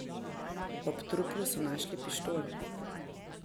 Ob truplu so našli pištolo.